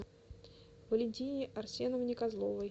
валентине арсеновне козловой